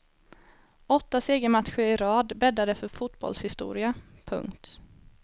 Åtta segermatcher i rad bäddade för fotbollshistoria. punkt